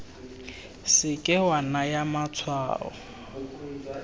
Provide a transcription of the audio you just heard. se ke wa naya matshwao